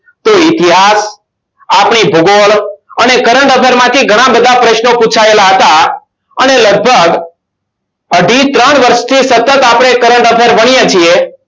તે ઇતિહાસ આપણી ભૂગોળ અને current affair માંથી ઘણા બધા પ્રશ્નો પુછાયેલા હતા. અને લગભગ અઢી ત્રણ વર્ષથી સતત આપણે current affair ભણીએ છીએ.